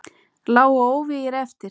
Lágu óvígir eftir.